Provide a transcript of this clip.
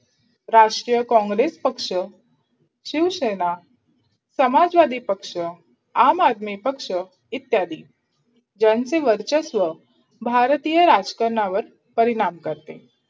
राष्ट्रीय कॉंग्रेस पक्ष, शिवसेना, समाजवादी पक्ष, आम आदमी पक्ष इत्यादी ज्यांचे वर्चस्व भारतीय राजकरणावर परिणाम करते.